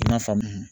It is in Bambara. N y'a faamu